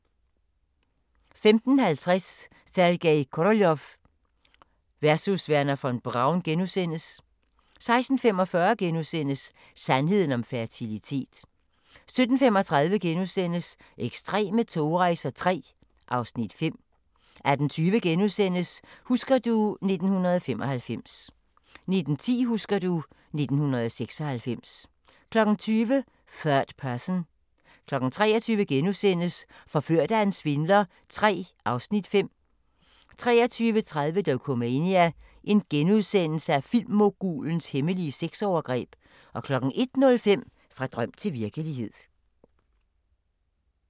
15:50: Sergej Koroljov versus Wernher von Braun * 16:45: Sandheden om fertilitet * 17:35: Ekstreme togrejser III (Afs. 5)* 18:20: Husker du ... 1995 * 19:10: Husker du ... 1996 20:00: Third Person 23:00: Forført af en svindler III (Afs. 5)* 23:30: Dokumania: Filmmogulens hemmelige sexovergreb * 01:05: Fra drøm til virkelighed